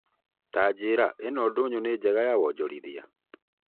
Tanjĩra ĩno ndũnyũ nĩ njega ya wonjorithia?